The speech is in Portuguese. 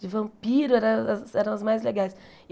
de vampiro era era as mais legais.